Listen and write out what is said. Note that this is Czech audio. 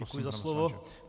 Děkuji za slovo.